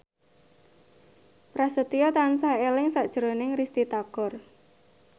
Prasetyo tansah eling sakjroning Risty Tagor